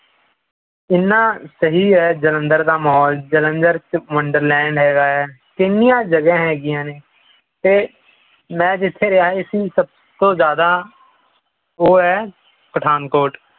ਇਨ੍ਹਾਂ ਸਹੀ ਹੈ ਜਲੰਧਰ ਦਾ ਮਾਹੌਲ ਜਲੰਧਰ ਚ ਵੰਡਰਲੈਂਡ ਹੈਗਾ ਹੈ ਕਿੰਨੀਆਂ ਜਗਾਹ ਹੈਗੀਆਂ ਨੇ ਤੇ ਮੈਂ ਜਿਥੇ ਰਿਹਾ ਸੀ ਸਭ ਤੋਂ ਜ਼ਿਆਦਾ ਉਹ ਹੈ ਪਠਾਨਕੋਟ